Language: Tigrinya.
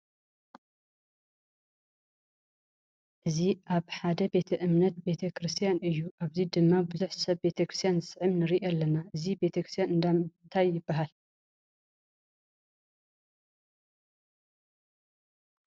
እዚ ኣብ ሓደ ቤተ እምነት ቤተ ክርስትያን እዩ። ኣብዚ ድማ ቡዙሕ ሰብ ቤተክርስትያን ዝስዕም ንርኢ ኣለና። እዚ ቤተክርስትያን እንዳእንታ ይባሃል?